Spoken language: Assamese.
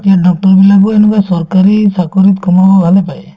এতিয়াৰ doctor বিলাকো এনেকুৱা চৰকাৰী চাকৰিত সোমাব ভালে পায়